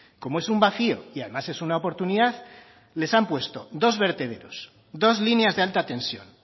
como es un vacío y además es una oportunidad les han puesto dos vertederos dos líneas de alta tensión